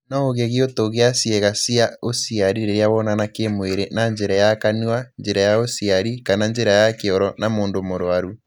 No ũgĩe gĩũtũ gĩa cieĩga cia ũciari rĩrĩa wonana kĩmwĩrĩ na njĩra ya kanua, njĩra ya ũciari kana njĩra ya kioro na mũndũ mũruaru.